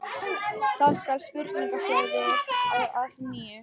Þá skall spurningaflóðið á að nýju.